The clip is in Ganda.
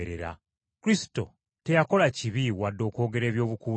“Kristo teyakola kibi wadde okwogera ebyobukuusa.”